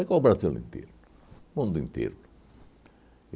Pegou o Brasil inteiro, o mundo inteiro.